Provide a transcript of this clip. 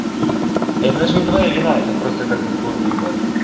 это даже не твоя вина это просто как бы твой выбор